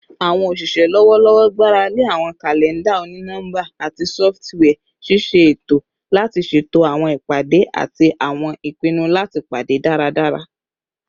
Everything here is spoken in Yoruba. Awọn oṣiṣẹ lọwọlọwọ gbarale awọn kalẹnda oni-nọmba ati sọfitiwia ṣiṣe eto lati ṣeto awọn ipade ati awọn ipinnu lati pade daradara